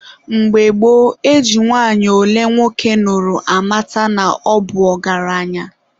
Mgbe gboo, e ji nwanyị ole nwoke nụrụ amata na ọ bụ ọgaranya.